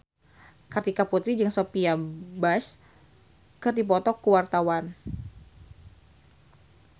Kartika Putri jeung Sophia Bush keur dipoto ku wartawan